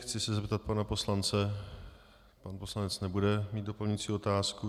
Chci se zeptat pana poslance - pan poslanec nebude mít doplňující otázku.